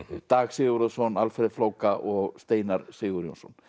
Dag Sigurðarson Alfreð flóka og Steinar Sigurjónsson